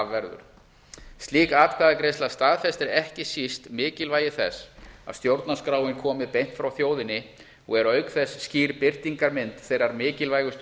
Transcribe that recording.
verður slík atkvæðagreiðsla staðfestir ekki síst mikilvægi þess að stjórnarskráin kom beint frá þjóðinni og er auk þess skýr birtingarmynd þeirra mikilvægustu